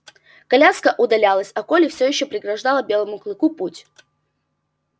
коляска удалялась а колли всё ещё преграждала белому клыку путь